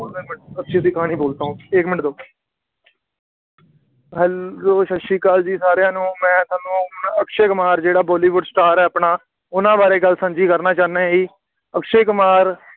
ਛੇਤੀ ਛੇਤੀ ਕਹਾਣੀ ਬੋਲਤਾ ਹੂੰ ਏਕ ਮਿੰਟ ਰੁੱਕ, Hello ਸਤਿ ਸ੍ਰੀ ਅਕਾਲ ਜੀ ਸਾਰਿਆਂ ਨੂੰ, ਮੈਂ ਤੁਹਾਨੂੰ ਅਕਸ਼ੇ ਕੁਮਾਰ ਜਿਹੜਾ ਬਾਲੀਵੁੱਡ star ਹੈ ਆਪਣਾ, ਉਹਨਾ ਬਾਰੇ ਗੱਲ ਸਾਂਝੀ ਕਰਨਾ ਚਾਹੁੰਦਾ ਜੀ, ਅਕਸ਼ੇ ਕੁਮਾਰ